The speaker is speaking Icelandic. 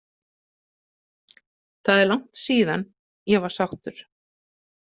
Það er langt síðan ég var sáttur.